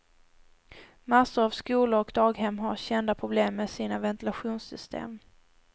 Massor av skolor och daghem har kända problem med sina ventilationssystem.